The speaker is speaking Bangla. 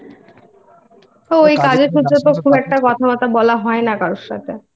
ওই কাজের জন্য খুব একটা কথাবার্তা বলা হয়না কারোর সাথে।